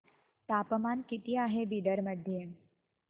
तापमान किती आहे बिदर मध्ये